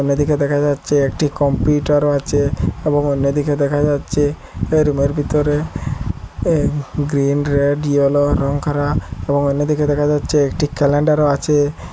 অন্যদিকে দেখা যাচ্ছে একটি কম্পিউটার ও আছে এবং অন্যদিকে দেখা যাচ্ছে রুমে র ভিতরে এ গ্রীন রেড ইয়েলো রঙ করা এবং অন্যদিকে দেখা যাচ্ছে একটি ক্যালেন্ডার ও আছে।